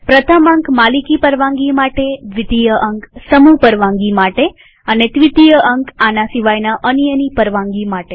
પ્રથમ અંક માલિકી પરવાનગી માટેદ્વિતીય અંક સમૂહ પરવાનગી માટે અને ત્વીતીય અંક આના સિવાયના અન્યની પરવાનગી માટે